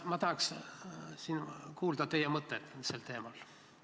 Ma tahaksin kuulda teie mõtteid sel teemal.